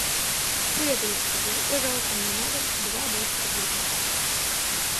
привет алиса закажи пожалуйста мне на дом два блэк стар бургера